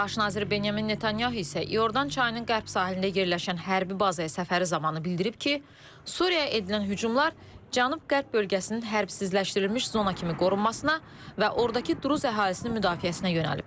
Baş nazir Binyamin Netanyahu isə İordan çayının qərb sahilində yerləşən hərbi bazaya səfəri zamanı bildirib ki, Suriyaya edilən hücumlar cənub-qərb bölgəsinin hərbsizləşdirilmiş zona kimi qorunmasına və ordakı duruz əhalisinin müdafiəsinə yönəlib.